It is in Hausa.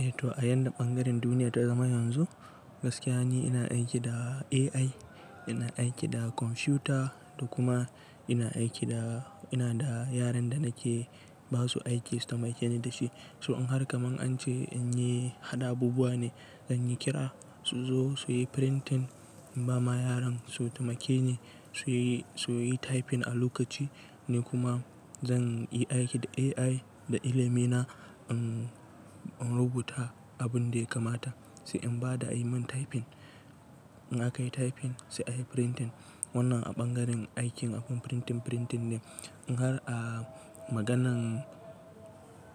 Eh to a yadda ɓangaren duniya ta zama yanzu, gaskiya ne ina aiki da AI, ina aiki da kwamfuta da kuma ina aiki da, ina da yaran da nake basu aiki su taimake ni da shi. So in har kaman an ce in yi haɗa abubuwa ne, zan yi kira su zo su yi printing, in ba ma yaran su taimake ni su yi, su yi typing a lokaci ni kuma zan yi aiki da AI da ilimi na in, in rubuta abun da ya kamata. Sai in ba da a yi min typing, in aka yi typing sai a yi printing. Wannan a ɓangaren aikin abun printing, printing ne. In har a maganan